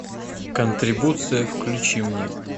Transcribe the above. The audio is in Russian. контрибуция включи мне